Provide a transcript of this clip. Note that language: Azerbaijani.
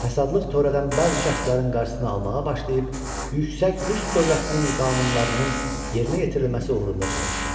Fəsadlıq törədən bəzi şəxslərin qarşısını almağa başlayıb, yüksək Rus dövlətinin qanunlarının yerinə yetirilməsi uğrunda çalışdı.